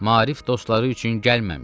Maarif dostları üçün gəlməmişəm.